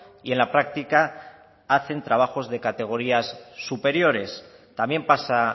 y en la práctica hacen trabajos de categorías superiores también pasa